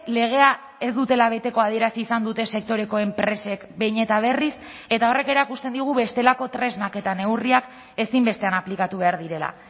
legea ez dutela beteko adierazi izan dute sektoreko enpresek behin eta berriz eta horrek erakusten digu bestelako tresnak eta neurriak ezinbestean aplikatu behar direla